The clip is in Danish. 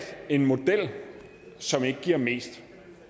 en model som ikke giver mest